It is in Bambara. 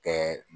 Kɛ